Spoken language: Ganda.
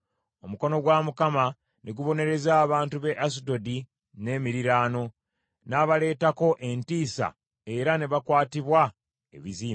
Omukono gwa Mukama ne gubonereza abantu b’e Asudodi n’emiriraano, n’abaleetako entiisa era ne bakwatibwa ebizimba.